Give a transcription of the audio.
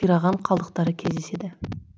қираған қалдықтары кездеседі